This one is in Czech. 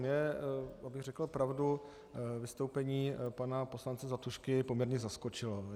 Mě, abych řekl pravdu, vystoupení pana poslance Zlatušky poměrně zaskočilo.